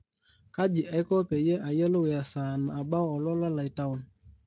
kaji aiko peyie ayiolou esaa nabau olola lai taon